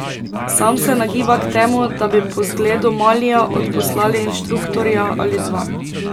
Sam se nagiba k temu, da bi po zgledu Malija odposlali inštruktorja ali dva.